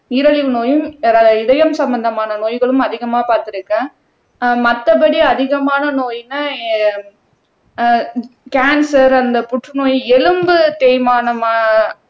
நீரிழிவு நோயும் இதயம் சம்பந்தமான நோய்களும் அதிகமா பார்த்திருக்கேன் அஹ் மத்தபடி அதிகமான நோய்ன்னா அஹ் கேன்சர் அந்த புற்றுநோய் எலும்பு தேய்மானம் அஹ்